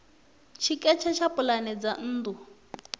tshiketshe tsha pulane dza nnḓu